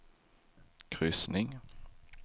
kryssning